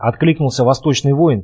откликнулся восточный воин